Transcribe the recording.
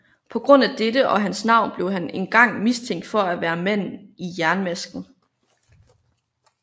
På grund af dette og hans navn blev han engang mistænkt for at være manden i jernmasken